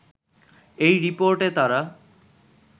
এই রিপোর্টে তারা